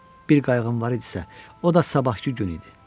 Bir qayğım var idisə, o da sabahkı gün idi.